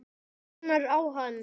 Mænir á hann.